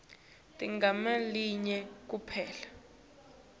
teligama linye kuphela